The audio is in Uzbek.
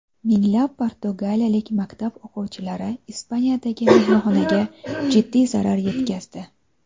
Minglab portugaliyalik maktab o‘quvchilari Ispaniyadagi mehmonxonaga jiddiy zarar yetkazdi.